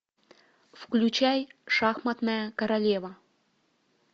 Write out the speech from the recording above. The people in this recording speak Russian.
включай шахматная королева